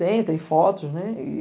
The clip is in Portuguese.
Tem, tem fotos, né?